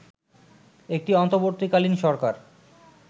একটি অন্তর্বর্তীকালীন সরকার